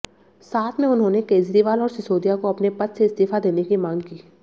साथ में उन्होंने केजरीवाल और सिसोदिया को अपने पद से इस्तीफा देने की मांग की